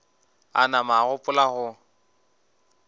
a nama a gopola go